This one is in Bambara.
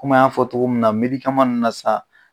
Komi an y'a fɔ cogo min na, nunnu na sisan